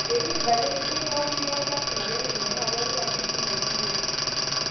Etu kidala esidai pokin niaku lasima pee kinyoraa pokin ajo ishindaki yiok.''